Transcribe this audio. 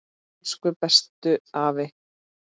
Elsku bestu afi.